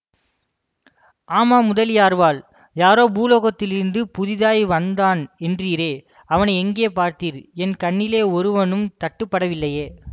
ஆமாம் முதலியார்வாள் யாரோ பூலோகத்திலிருந்து புதிதாய் வந்தான் என்றீரே அவனை எங்கே பார்த்தீர் என் கண்ணிலே ஒருவனும் தட்டுப்படவில்லையே